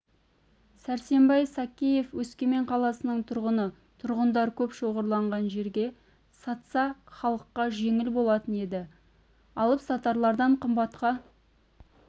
сәрсенбай сакеев өскемен қаласының тұрғыны тұрғындар көп шоғырланған жерге сатса халыққа жеңіл болатын еді алып-сатарлардан қымбатқа